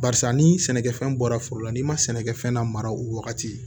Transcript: Barisa ni sɛnɛkɛfɛn bɔra foro la n'i ma sɛnɛkɛfɛn la mara o wagati